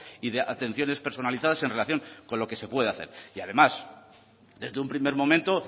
y de atenciones personalizadas en relación con lo que se puede hacer y además desde un primer momento